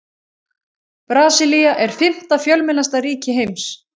Brasilía er fimmta fjölmennasta ríki heims.